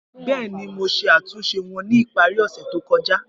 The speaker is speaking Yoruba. Bẹẹni, Mo ṣe atunṣe wọn ni ipari ose to kọja.